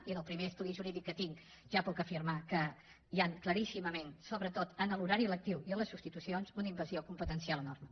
i amb el primer estudi jurídic que tinc ja puc afirmar que hi ha claríssimament sobretot en l’horari lectiu i en les substitucions una invasió competencial enorme